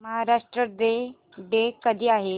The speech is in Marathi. महाराष्ट्र डे कधी आहे